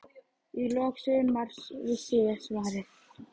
Í lok sumars vissi ég svarið.